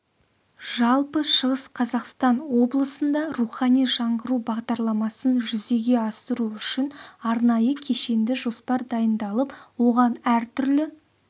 жалпы шығыс қазақстан облысында рухани жаңғыру бағдарламасын жүзеге асыру үшін арнайы кешенді жоспар дайындалып оған әртүрлі